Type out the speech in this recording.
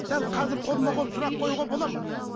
дәл қазір қолма қол сұрақ қоюға бола ма